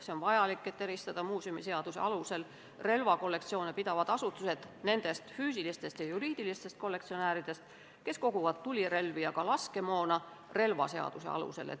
See on vajalik, et eristada muuseumiseaduse alusel relvakollektsioone pidavaid asutusi nendest füüsilistest ja juriidilistest kollektsionääridest, kes koguvad tulirelvi ja laskemoona relvaseaduse alusel.